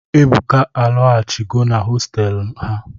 Ebuka alaghachigo na hostelụ ha.